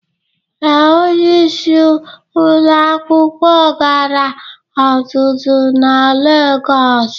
Ee, onyeisi ụlọ akwụkwọ gara ọzụzụ na Legọs